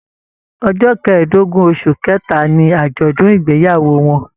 Ọjọ kẹ̀ẹ̀dógún oṣù kẹta ní ajọdun ìgbéyàwó wọn.